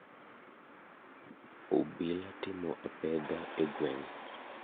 Obila timo apedha e gweng.